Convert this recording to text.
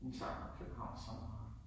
Hun savnede København så meget